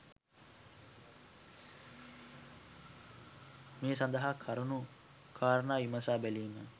මේ සඳහා කරුණු කාරණා විමසා බැලීම